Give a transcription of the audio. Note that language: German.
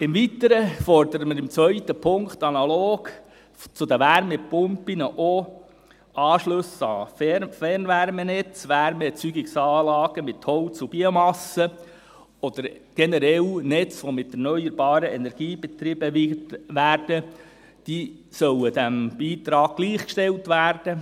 Im Weiteren fordern wir im zweiten Punkt, dass Anschlüsse an Fernwärmenetze, Wärmeerzeugungsanlagen mit Holz und Biomasse oder generell Netze, die mit erneuerbarer Energie betrieben werden, analog zu den Wärmepumpen, diesem Beitrag gleichgestellt werden.